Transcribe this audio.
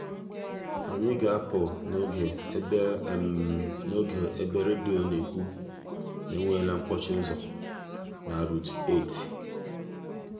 anyị ga-apụ n'oge ebe n'oge ebe redio na-ekwu na e nweela mkpọchi ụzọ na route 8.